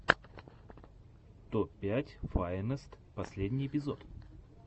топ пять файнест последний эпизод